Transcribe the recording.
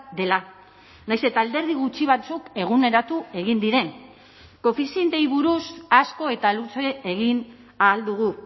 dela nahiz eta alderdi gutxi batzuk eguneratu egin diren koefizienteei buruz asko eta luze egin ahal dugu